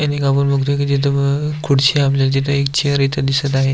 इथ एक आपण एक बघतोय की एक खुडची एक चेअर आपल्याला इथ दिसत आहे.